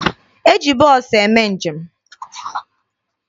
E ji bọọsụ eme njem.